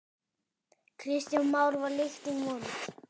Kristján Már: Var lyktin vond?